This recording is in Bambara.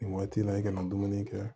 Nin waati in na i kana dumuni kɛ